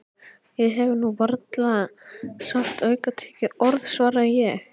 Ég hef nú varla sagt aukatekið orð svaraði ég.